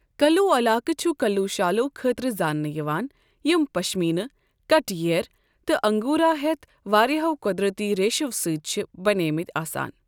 کلّو علاقہٕ چھُ کلّو شالو خٲطرٕ زانٛنہٕ یوان، یم پشمینہٕ، کٹہٕ ییر، تہٕ انگورا ہٮ۪تھ واریہو قۄدرٔتی ریشو سۭتۍ چھ بنیمٕتۍ آسان۔